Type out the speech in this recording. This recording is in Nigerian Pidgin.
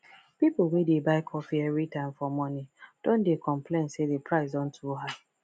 people wey dey buy coffee everytime for morning don dey complain say the price don too high